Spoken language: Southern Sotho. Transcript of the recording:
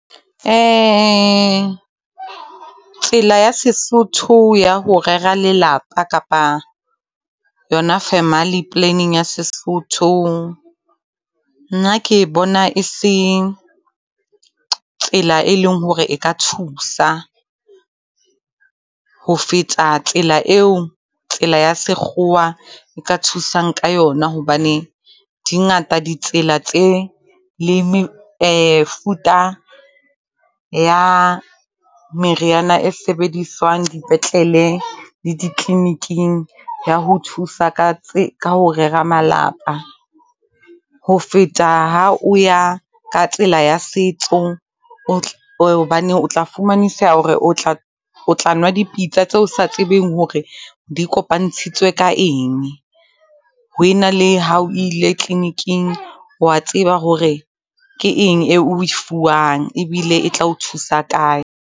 tsela ya sesotho ya ho rera lelapa kapa yona family planning ya sesotho. Nna ke bona e se, tsela e leng hore e ka thusa, ho feta tsela eo, tsela ya sekgowa e ka thusang ka yona. Hobane di ngata ditsela tse, le mefuta ya meriana e sebediswang dipetlele le di tleliniking ya ho thusa ka , ka ho rera malapa, ho feta ha o ya ka tsela ya setso. Hobane o tla fumaniseha hore o tla nwa dipitsa tseo sa tsebeng hore di kopantshitswe ka eng, ho ena le ha o ile tleliniking, wa tseba hore ke eng eo e fuwang ebile e tla o thusa kae.